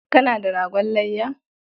Kana da ragon layya?